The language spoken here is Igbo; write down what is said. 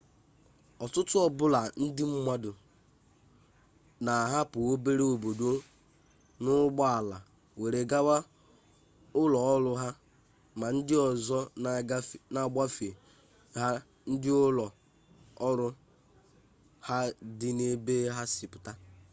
ututu o bula ndi mmadu n'ahapu obere obodo n'ugbo ala were gawa ulo oru ha ma ndi ozo n'agbafe ha ndi ulo oru ha di n'ebe ha si puta